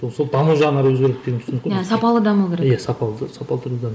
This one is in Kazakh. ол сол даму жағынан өзгереді деген түсінік иә сапалы даму керек иә сапалы сапалы түрде даму